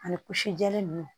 Ani kusi jɛlen ninnu